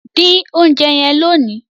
din oúnjẹ yen lóni!